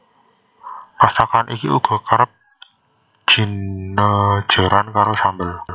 Masakan iki uga kerep jinejeran karo sambel